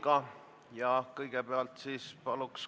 Palun teeme kohaloleku kontrolli!